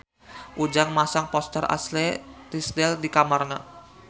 Ujang masang poster Ashley Tisdale di kamarna